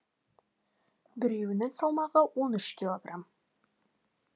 біреуінің салмағы он үш килограмм